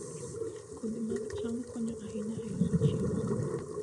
Kodhi mag cham konyo ahinya e loso chiemo.